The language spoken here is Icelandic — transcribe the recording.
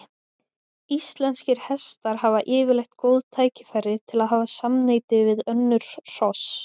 Íslenskir hestar hafa yfirleitt góð tækifæri til að hafa samneyti við önnur hross.